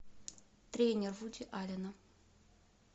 тренер вуди аллена